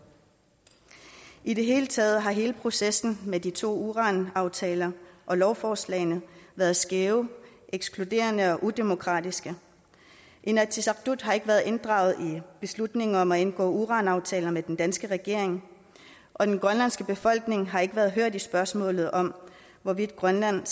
i det hele taget har processen med de to uranaftaler og lovforslagene været skæve ekskluderende og udemokratiske inatsisartut har ikke været inddraget i beslutningen om at indgå uranaftaler med den danske regering og den grønlandske befolkning har ikke været hørt i spørgsmålet om hvorvidt grønland